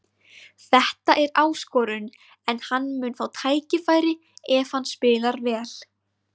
Þetta er áskorun en hann mun fá tækifæri ef hann spilar vel.